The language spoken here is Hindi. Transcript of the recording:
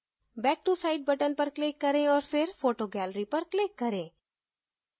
back to site button पर click करें औऱ फिर photo gallery पर click करें